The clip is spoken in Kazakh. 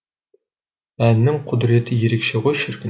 әннің құдіреті ерекше ғой шіркін